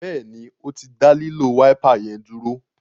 Béèni o tí dá lilo Wáípà yén dúró.